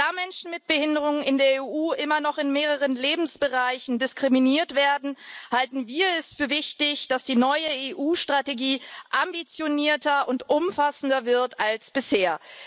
Da Menschen mit Behinderungen in der EU immer noch in mehreren Lebensbereichen diskriminiert werden, halten wir es für wichtig, dass die neue EU Strategie ambitionierter und umfassender wird als bisher.